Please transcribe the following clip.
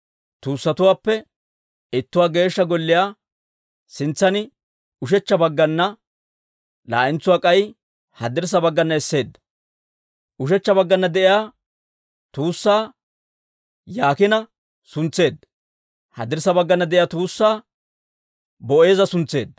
Tuussatuwaappe ittuwaa Geeshsha Golliyaa sintsan ushechcha baggana, laa'entsuwaa k'ay haddirssa baggana esseedda. Ushechcha baggana de'iyaa tuussaa Yaakiina suntseedda; haddirssa baggana de'iyaa tuussaa Boo'eeza suntseedda.